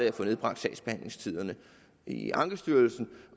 at få nedbragt sagsbehandlingstiderne i ankestyrelsen